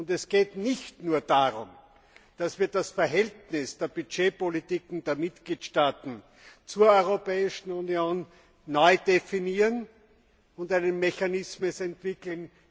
Es geht nicht nur darum, dass wir das Verhältnis der Budgetpolitik und der Mitgliedstaaten zur Europäischen Union neu definieren und einen Mechanismus entwickeln.